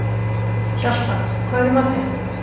Hjalta, hvað er í matinn?